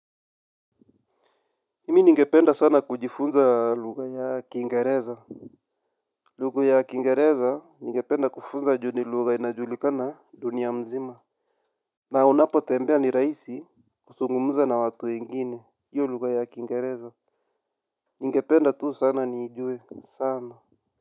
Mimi ningependa sana kujifunza lugha ya Kingereza. Lugha ya Kingereza ningependa kufunza ju ni lugha inajulikana dunia mzima. Na unapotembea ni rahisi kuzungumza na watu wengine hiyo lugha ya Kingereza. Ningependa tu sana niijue sana.